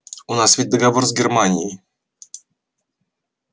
у нас ведь договор с германией